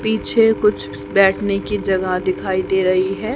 पीछे कुछ बैठने की जगह दिखाई दे रही है।